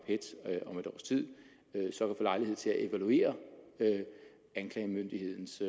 et års tid vil få lejlighed til at evaluere anklagemyndighedens